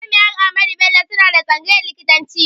Jami'ar Ahmadu Bello suna da tsangayn likitanci